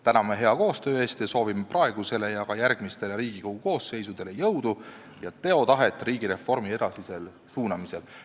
Täname hea koostöö eest ja soovime praegusele ja ka järgmistele Riigikogu koosseisudele jõudu ja teotahet riigireformi edasisel suunamisel.